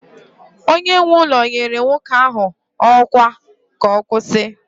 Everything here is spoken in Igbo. onye nwe ụlọ nyere nwoke ahụ ọkwa ka ọ kwụsị